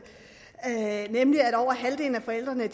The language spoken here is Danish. nemlig at over halvdelen af forældrene